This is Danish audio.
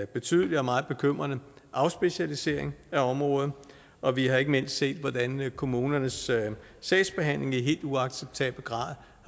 betydelig og meget bekymrende afspecialisering af området og vi har ikke mindst set hvordan kommunernes sagsbehandling i helt uacceptabel grad